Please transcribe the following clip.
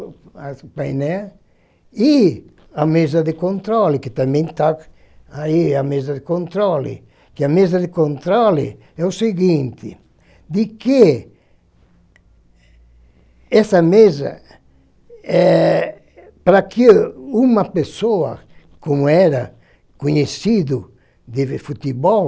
as o painel, e a mesa de controle, que também está aí, a mesa de controle, que a mesa de controle é o seguinte, de que essa mesa, eh, para que uma pessoa, como era conhecido de ver futebol,